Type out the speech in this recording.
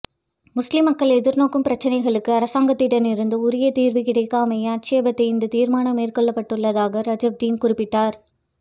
முஸ்லிம் மக்கள் எதிர்நோக்கும் பிரச்சினைகளுக்கு அரசாங்கத்திடம் இருந்து உரிய தீர்வு கிடைக்காமையை ஆட்சேபித்தே இந்த தீர்மானம் மேற்கொள்ளப்படவுள்ளதாக ரஜாப்டீன் குறிப்பிட்டார்